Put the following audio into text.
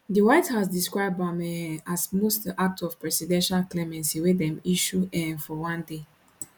di white house describe am um as di most act of presidential clemency wey dem issue um for one day